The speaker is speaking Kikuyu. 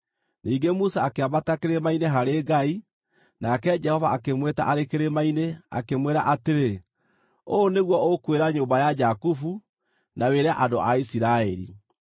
Ningĩ Musa akĩambata kĩrĩma-inĩ harĩ Ngai, nake Jehova akĩmwĩta arĩ kĩrĩma-inĩ, akĩmwĩra atĩrĩ, “Ũũ nĩguo ũkwĩra nyũmba ya Jakubu, na wĩre andũ a Isiraeli: